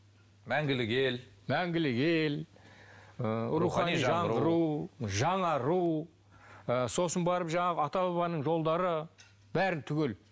мәңгілік ел мәңгілік ел ы рухани жаңғыру жаңару ы сосын барып жаңағы ата бабаның жолдары бәрін түгел